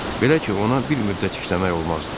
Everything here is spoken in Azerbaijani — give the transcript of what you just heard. Belə ki, ona bir müddət işləmək olmazdı.